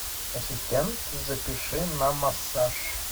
ассистент запиши на массаж